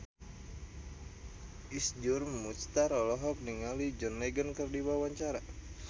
Iszur Muchtar olohok ningali John Legend keur diwawancara